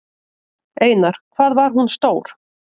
Einar: Hvað var hún stór?